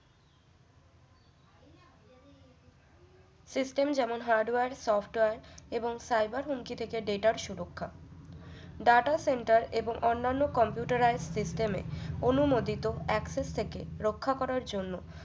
system যেমন hardware software এবং cyber হুমকি থেকে data র সুরক্ষা data center এবং অন্যান্য computerise system এ অনুমোদিত access থেকে রক্ষা করার জন্য